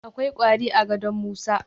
Akwai kwari a gadon Musa